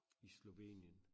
I Slovenien